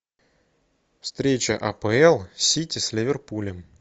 встреча апл сити с ливерпулем